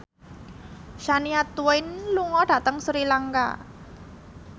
Shania Twain lunga dhateng Sri Lanka